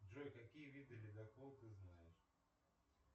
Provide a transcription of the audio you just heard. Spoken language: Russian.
джой какие виды ледокол ты знаешь